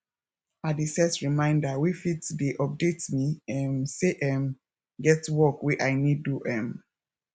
i dey set reminder wey fit dey update me um say um get work wey i nid do um